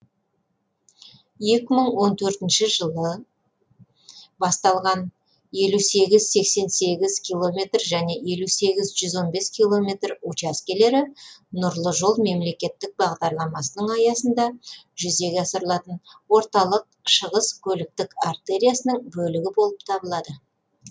екі мың он төртінші жылы басталған елу сегіз сексен сегіз км және сексен сегіз жүз он бес км учаскелері нұрлы жол мемлекеттік бағдарламасының аясында жүзеге асырылатын орталық шығыс көліктік артериясының бөлігі болып табылады